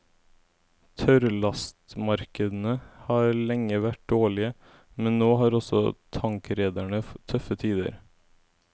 Tørrlastmarkedene har lenge vært dårlige, men nå har også tankrederne tøffe tider.